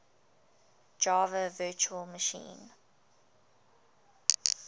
java virtual machine